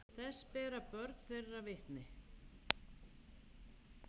Þess bera börn þeirra vitni.